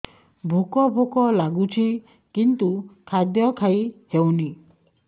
ଭୋକ ଭୋକ ଲାଗୁଛି କିନ୍ତୁ ଖାଦ୍ୟ ଖାଇ ହେଉନି